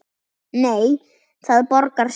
Nei, það borgar sig ekki.